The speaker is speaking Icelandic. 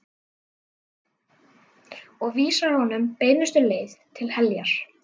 Og vísar honum beinustu leið til heljar.